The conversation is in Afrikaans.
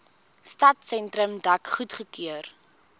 stadsentrum dek goedgekeur